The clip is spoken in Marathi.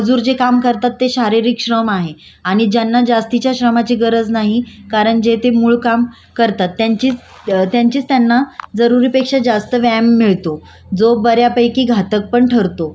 त्यांचीच त्यांना जरुरी पेक्षा जास्त व्यायाम मिळतो जो बऱ्यापैकी घातक पण ठरतो पण बौद्धिक श्रम कार्य करण्यासाठी लोकांनी लठ्ठपणा रक्त रक्तदाब मधुमेह हृदयरोग